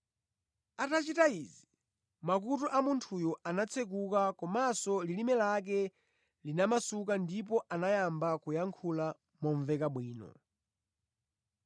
Atachita izi, makutu a munthuyo anatsekuka komanso lilime lake linamasuka ndipo anayamba kuyankhula momveka bwino.